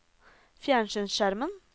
fjernsynsskjermen